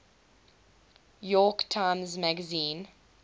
york times magazine